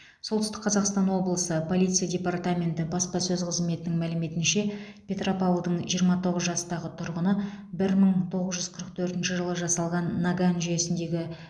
солтүстік қазақстан облысы полиция департаменті баспасөз қызметінің мәліметінше петропавлдың жиырма тоғыз жастағы тұрғыны бір мың тоғыз жүз қырық төртінші жылы жасалған наган жүйесіндегі